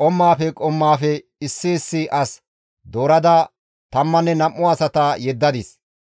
qommaafe qommaafe issi issi as doorada tammanne nam7u asata yeddadis.